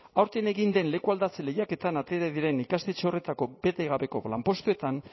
aurten egin den lekualdatze lehiaketetan atera diren ikastetxe horretako betegabeko lanpostuetan